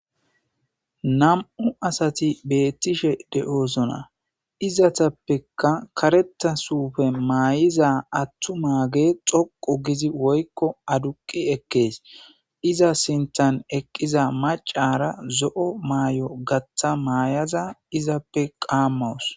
Nam'u asatti bettishe de'iossonna izetappekka karetta karetta suupe mayiza attumaggey dhoqqu giza adduuqqi ekkes iza sinththan eeqiza maacara zo'o mayo gaththa mayaza izappe qaamawus